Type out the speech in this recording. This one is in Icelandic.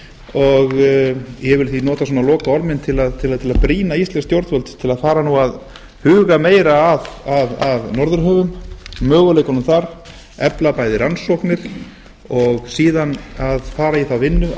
og ég vil því nota svona lokaorð mín til að brýna íslensk stjórnvöld til að fara nú að huga meira að norðurhöfum möguleikunum þar efla bæði rannsóknir og síðan að fara í þá vinnu að